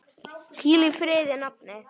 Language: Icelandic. Hvíl í friði, nafni.